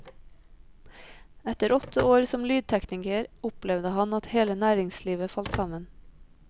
Etter åtte år som lydtekniker opplevde han at hele næringslivet falt sammen.